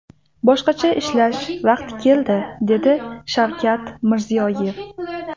Boshqacha ishlash vaqti keldi”, – dedi Shavkat Mirziyoyev.